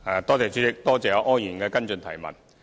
代理主席，多謝柯議員的補充質詢。